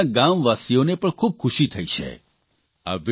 તેનાથી તેમના ગામવાસીઓને પણ ખૂબ ખુશી થઇ છે